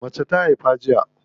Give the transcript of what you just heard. Mace ta haifa jiya.